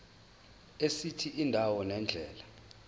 esithi indawo nendlela